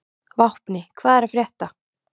Vápni, hvað er að frétta?